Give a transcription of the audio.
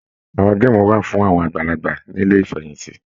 Àwọn geemu wà fún àwọn àgbàlagbà nílé ifẹ̀yinti